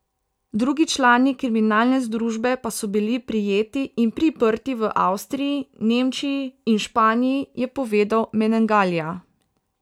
Drugi člani kriminalne združbe pa so bili prijeti in priprti v Avstriji, Nemčiji in Španiji, je povedal Menegalija.